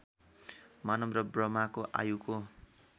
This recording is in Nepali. मानव र ब्रह्माको आयुको